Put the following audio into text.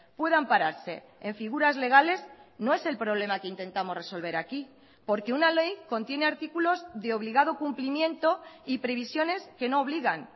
puedan pararse en figuras legales no es el problema que intentamos resolver aquí porque una ley contiene artículos de obligado cumplimiento y previsiones que no obligan